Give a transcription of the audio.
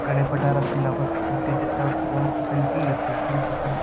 कडे पठार असतील आपण त्यांचा जवळ जाऊन सेल्फी घेतोय, सेल्फी काढतोय